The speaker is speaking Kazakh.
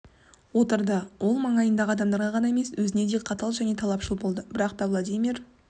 отырды ол маңайындағы адамдарға ғана емес өзіне де қатал және талапшыл болды бірақ та владимир